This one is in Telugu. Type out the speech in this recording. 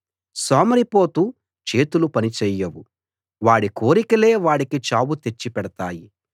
సోమరిపోతు చేతులు పనిచేయవు వాడి కోరికలే వాడికి చావు తెచ్చిపెడతాయి